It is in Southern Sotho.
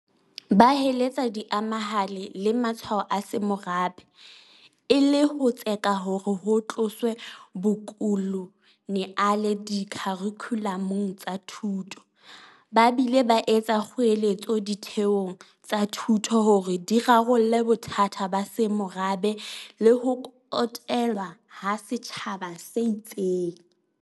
Ba heletsa diemahale le matshwao a semorabe, e le ho tseka hore ho tloswe bokoloniale dikharikhulamong tsa thuto, ba bile ba etsa kgoeletso ditheong tsa thuto hore di rarolle bothata ba semorabe le ho kotelwa ha setjhaba se itseng.